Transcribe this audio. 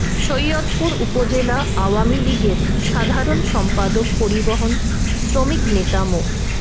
সৈয়দপুর উপজেলা আওয়ামী লীগের সাধারণ সম্পাদক পরিবহন শ্রমিক নেতা মো